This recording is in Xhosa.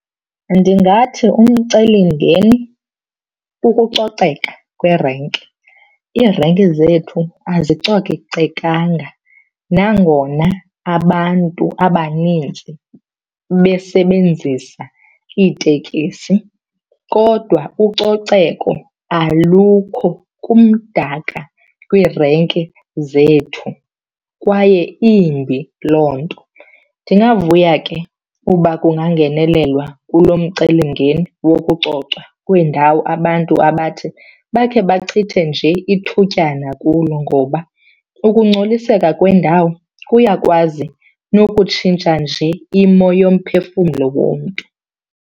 Ndingathi umcelimngeni kukucoceka kweerenki. Iirenki zethu azicocekanga nangona abantu abanintsi besebenzisa iitekisi kodwa ucoceko alukho, kumdaka kwiirenki zethu kwaye imbi loo nto. Ndingavuya ke uba kungangenelelwa kulo mcelimngeni wokucocwa kweendawo abantu abathi bakhe bachithe nje ithutyana kulo ngoba ukungcoliseka kwendawo kuyakwazi nokutshintsha nje imo yomphefumlo womntu.